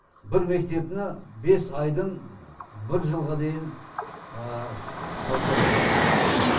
бір мектепні бес айдын бір жылға дейін салса болады